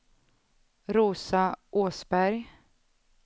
Rosa Åsberg